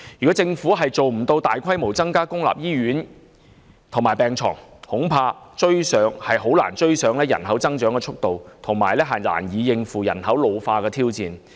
倘若政府無法加建公立醫院及大規模增加病床數目，恐怕難以追上人口增長的速度，更遑論應對人口老化的挑戰。